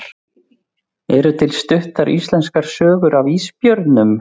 Eru til stuttar íslenskar sögur af ísbjörnum?